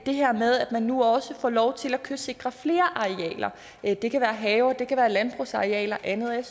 her med at man nu også får lov til at kystsikre flere arealer det kan være haver det kan være landbrugsarealer og andet og jeg